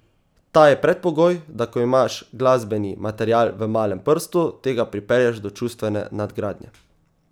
Ta je predpogoj, da ko imaš glasbeni material v malem prstu, tega pripelješ do čustvene nadgradnje.